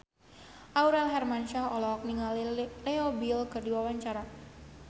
Aurel Hermansyah olohok ningali Leo Bill keur diwawancara